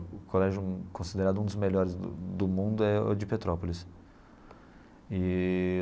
O colégio considerado um dos melhores do do mundo é o de Petrópolis eee.